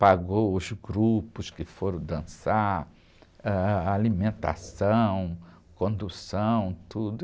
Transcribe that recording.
Pagou os grupos que foram dançar, ãh, alimentação, condução, tudo.